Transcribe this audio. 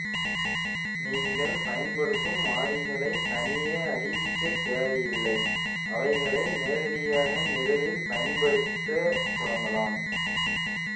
நீங்கள் பயன்படுத்தும் மாறிகளைத் தனியே அறிவிக்கத் தேவையில்லை அவைகளை நேரடியாக நிரலில் பயன்படுத்த தொடங்கலாம்